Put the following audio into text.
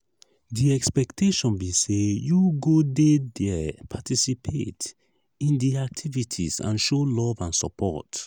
di expectation be say you go dey there participate in di activities and show love and support.